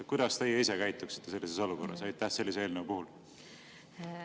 Kuidas teie ise käituksite sellises olukorras sellise eelnõu puhul?